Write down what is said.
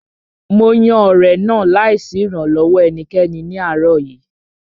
Mo yan ọ̀rẹ̀ náà láì sí ìrànlọ́wọ́ ẹnikẹ́ni ní àárọ̀ yìí